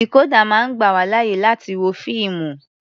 Dìkódà máa ń gbà wá láyè láti wo fíìmù.